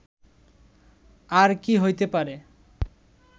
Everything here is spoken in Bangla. আর কি হইতে পারে